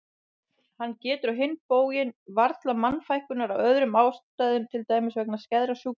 Hann getur á hinn bóginn varla mannfækkunar af öðrum ástæðum til dæmis vegna skæðra sjúkdóma.